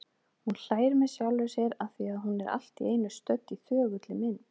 Hún hlær með sjálfri sér afþvíað hún er allt í einu stödd í þögulli mynd.